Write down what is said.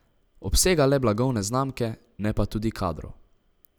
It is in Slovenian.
Obsega le blagovne znamke, ne pa tudi kadrov.